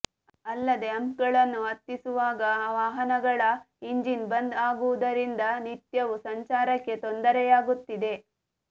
ಅಲ್ಲದೇ ಹಂಪ್ಗಳನ್ನು ಹತ್ತಿಸುವಾಗ ವಾಹನಗಳ ಇಂಜಿನ್ ಬಂದ್ ಆಗುವುದರಿಂದ ನಿತ್ಯವೂ ಸಂಚಾರಕ್ಕೆ ತೊಂದರೆಯಾಗುತ್ತಿದೆ